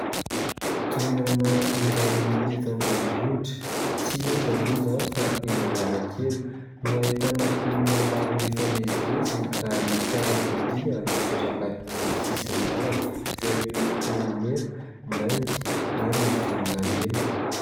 Toerana iray eto an-drenivohitra. Tsy aiza moa izany fa eny Analakely no ahitana olona maro mifamezivezy ary fiarakodia mipetraka eny amin'ny sisin-dalana izay miloko mena, mainty ary volon-davenina.